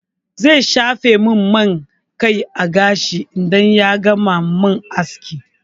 Zai shafa min man gashi a kai idan ya gama min aski.